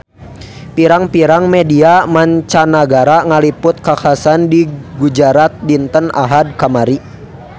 Pirang-pirang media mancanagara ngaliput kakhasan di Gujarat dinten Ahad kamari